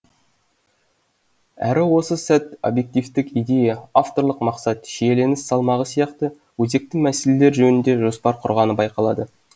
әрі осы сәт объективтік идея авторлық мақсат шиеленіс салмағы сияқты өзекті мәселелер жөнінде жоспар құрғаны байқалады